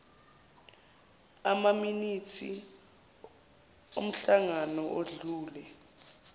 amaminithi omhlangano odlule